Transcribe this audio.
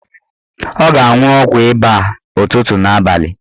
Ọ ga-anwụ ọgwụ ịba a ụtụtụ na abalị